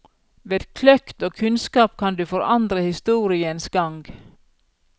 Ved kløkt og kunnskap kan du forandre historiens gang.